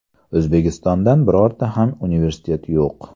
O‘zbekistondan birorta ham universitet yo‘q.